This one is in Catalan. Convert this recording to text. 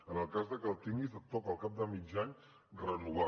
en el cas de que el tinguis et toca al cap de mig any renovar